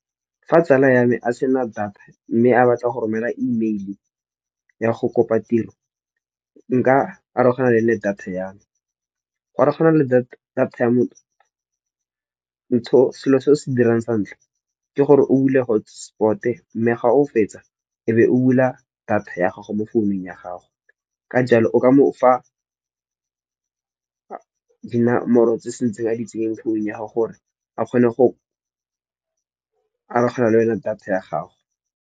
Fa tsala ya me a sena data mme a batla go romela email-e ya go kopa tiro nka arogana le data ya me. Go arogana le data ya motho, selo se o se dirang santlha ke gore o dule hotspot-e, mme ga o fetsa e be o bula data ya gago mo founung ya gago. Ka jalo, o ka mo fa di namoro tse se ntseng a di tseyeng founu ya gago gore a kgone go arogana le wena data ya gago.